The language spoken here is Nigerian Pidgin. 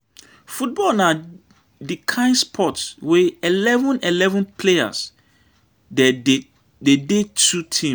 Football na di kain sports wey eleven - eleven players dey dey two teams.